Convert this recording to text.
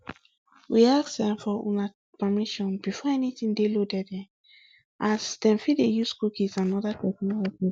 we ask um for una permission before anytin dey loaded um as dem fit dey use cookies and oda technologies